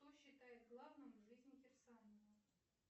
что считает главным в жизни кирсанова